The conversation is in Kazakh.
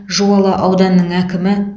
жуалы ауданының әкімі